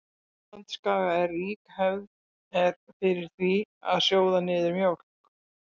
Á Indlandsskaga er rík hefð er fyrir því að sjóða niður mjólk.